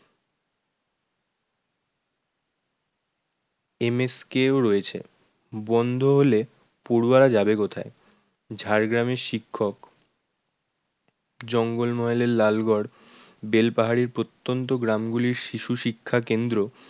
MSK ও রয়েছে। বন্ধ হলে পড়ুয়ারা যাবে কোথায়? ঝাড়গ্রামের শিক্ষক, জঙ্গলমহলের লালগড়, বেলপাহাড়ির প্রত্যন্ত গ্রামগুলির শিশু শিক্ষা কেন্দ্র